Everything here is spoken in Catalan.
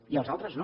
i els altres no